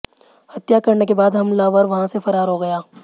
हत्या करने के बाद हमलावर वहाँ से फरार हो गया